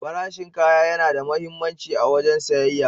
Farashin kaya yana da muhimmanci a wajen siyayya.